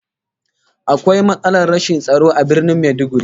Akwai matsalar rashin tsaro a Birnin Maiduguri